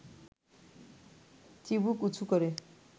চিবুক উঁচু করে